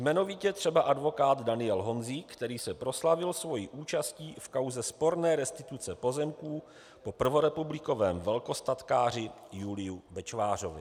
Jmenovitě třeba advokát Daniel Honzík, který se proslavil svojí účastí v kauze sporné restituce pozemků po prvorepublikovém velkostatkáři Juliovi Bečvářovi.